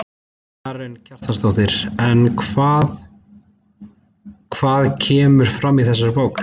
Karen Kjartansdóttir: En hvað, hvað kemur fram í þessari bók?